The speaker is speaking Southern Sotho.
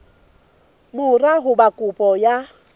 mora ho ba kopo ya